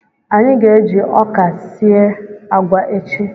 Anyị ga-eji ọka sie agwa echi